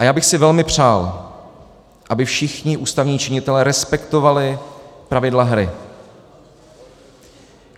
A já bych si velmi přál, aby všichni ústavní činitelé respektovali pravidla hry.